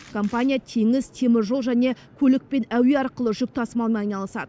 компания теңіз теміржол және көлік пен әуе арқылы жүк тасымалымен айналысады